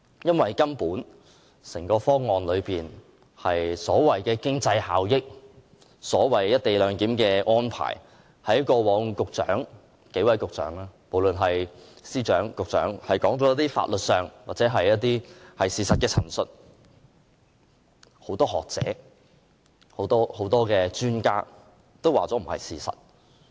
因為有關這個方案的經濟效益和"一地兩檢"安排，過往無論是由司長還是數位局長作出的法律或事實陳述，均已被很多學者、專家質疑並非是事實。